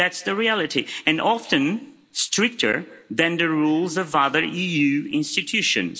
That's the reality, and often stricter than the rules of other EU institutions.